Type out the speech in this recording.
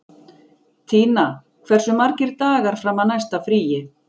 Tína, hversu margir dagar fram að næsta fríi?